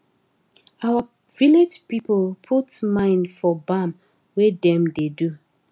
our village people put mind for bam wey dem da do